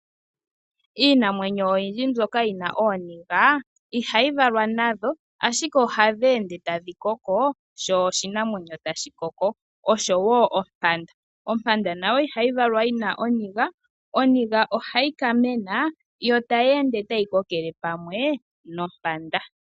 Iinamwenyo oyindji mbyoka yina ooniga, ihayi valwa nadho ashike ohadheende tadhi koko sho oshinamwenyo tashi koko. Osho wo ompanda, ompanda nayo ihayi valwa yina oniga, oniga ohayi ka mena yo tayeende tai kokele pamwe nompanda.